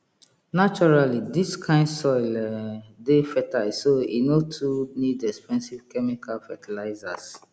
naturally dis kind soil um dey fertile so e no too need expensive chemical fertilizers